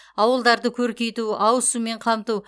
ауылдарды көркейту ауыз сумен қамту